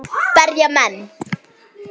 Berja menn.?